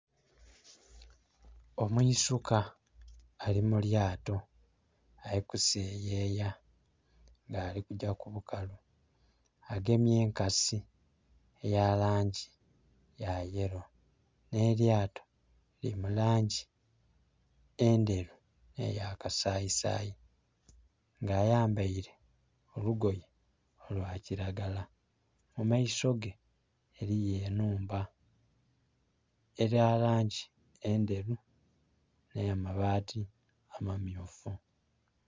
Omwisuka ali mu lyato, ali kuseyeya nga alikugya ku bukalu, agemye enkasi elimulangi ya yellow, nh'elyato lili mu langi endheru nhe ya kasayisayi. Nga ayambeire olugoye olwa kilagala. Mu maiso ge eriyo enhumba eya langi endheru nha mabati amayufu.